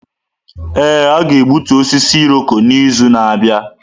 Ee, a ga-egbutu osisi Irọko n’izu na-abịa.